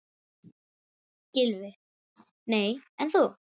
Gylfi: Nei en þú?